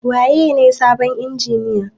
Waye ne sabon injiniyan?